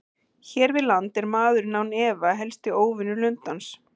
Hér við land er maðurinn án efa helsti óvinur lundans.